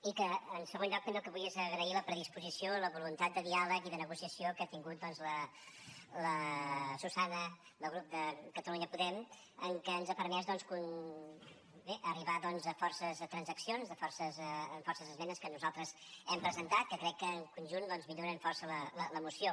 i en segon lloc també el que vull és agrair la predisposició la voluntat de diàleg i de negociació que ha tingut doncs la susana del grup de catalunya podem que ens ha permès bé arribar a força transaccions a força esmenes que nosaltres hem presentat que crec que en conjunt milloren força la moció